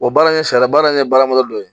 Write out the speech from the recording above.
baara in ye sariya baara in ye baara dɔ ye